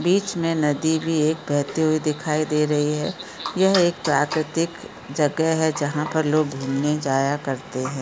बीच में नदी भी एक बहती हुई दिखाई दे रही है यह एक प्राकृतिक जगह है जहाँ पे लोग घूमने जाया करते हैं।